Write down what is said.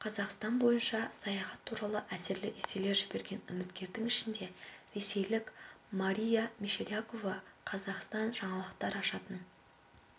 қазақстан бойынша саяхат туралы әсерлі эсселер жіберген үміткердің ішінде ресейлік мария мещерякова қазақстан жаңалықтар ашатын